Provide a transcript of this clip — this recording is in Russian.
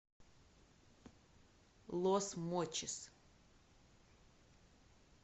лос мочис